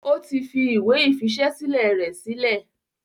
ó ti fi ìwé ìfiṣẹ́sílẹ̀ rẹ̀ sílẹ̀.